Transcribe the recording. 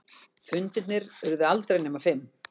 Fundirnir urðu aldrei nema fimm.